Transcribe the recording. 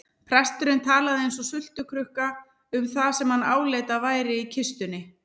Presturinn talaði eins og sultukrukka um það sem hann áleit að væri í kistunni.